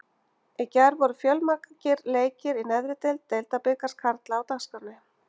Í gær voru fjölmargir leikir í neðri deild Deildabikars karla á dagskránni.